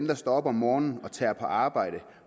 der står op om morgenen og tager på arbejde